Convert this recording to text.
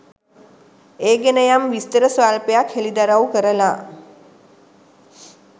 ඒ ගැන යම් විස්තර ස්වල්පයක් හෙළිදරව් කරලා